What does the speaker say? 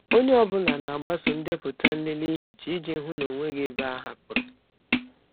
Onye ọ bụla na-agbaso ndepụta nlele ihicha iji hụ na ọ nweghị ebe a hapụrụ.